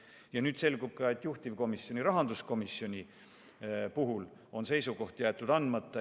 Ja nüüd selgub ka, et juhtivkomisjon, rahanduskomisjon on oma seisukoha jätnud andmata.